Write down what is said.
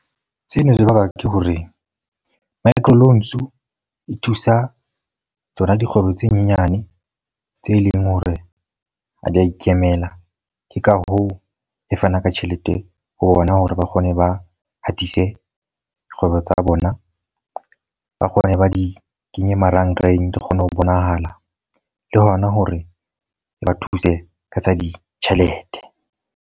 Seno se bakwa ke hore microloans e thusa tsona dikgwebo tse nyenyane, tse leng hore ha di a ikemela. Ke ka hoo e fanang ka tjhelete ho bona hore ba kgone ba hatise kgwebo tsa bona. Ba kgone ba di kenye marangrang re kgone ho bonahala le hona hore ba thuse ka tsa ditjhelete.